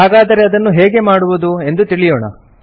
ಹಾಗಾದರೆ ಅದನ್ನು ಹೇಗೆ ಮಾಡುವುದು ಎಂದು ತಿಳಿಯೋಣ